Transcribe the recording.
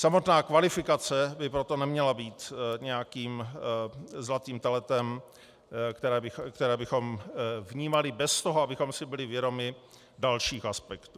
Samotná kvalifikace by proto neměla být nějakým zlatým teletem, které bychom vnímali bez toho, abychom si byli vědomi dalších aspektů.